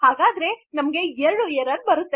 so ನಮಗೆ ೨ errors ರುತ್ತ್ದೆ